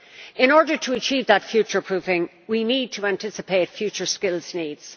In order to achieve that future proofing we need to anticipate future skills needs.